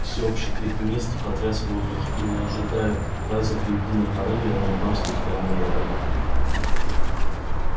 всеобщий крик мести потряс воздух и не ожидая приказов в едином порыве они бросились прямо на врага